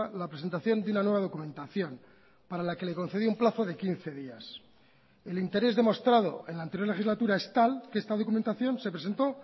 la presentación de una nueva documentación para la que le concedió un plazo de quince días el interés demostrado en la anterior legislatura es tal que esta documentación se presentó